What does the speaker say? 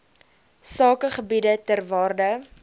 sakegebiede ter waarde